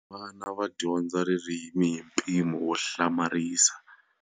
Vana va dyondza ririmi hi mpimo wo hlamarisa.